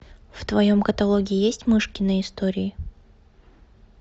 в твоем каталоге есть мышкины истории